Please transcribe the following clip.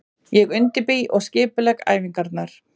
Ég undirbý og skipulegg æfingarnar.